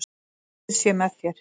Guð sé með þér.